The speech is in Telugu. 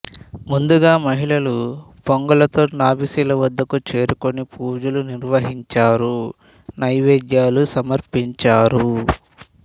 ముందుగా మహిళలు పొంగళ్ళతో నాభిశిల వద్దకు చేరుకుని పూజలు నిర్వహించినారు నైవేద్యాలు సమర్పించినారు